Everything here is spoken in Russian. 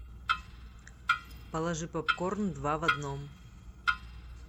положи попкорн два в одном